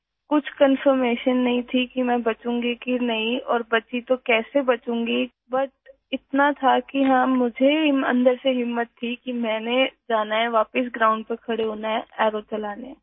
اس بات کا کوئی یقین نہیں تھا کہ میں زندہ رہوں گی یا نہیں اور اگر بچی تو میں کیسے بچوں گی؟ لیکن اتنا تھا ... کہ ہاں، مجھے اندر سے ہمت تھی کہ مجھے جانا ہے واپس گراؤنڈ پر کھڑا ہونا ہے ، تیر چلانے کے لئے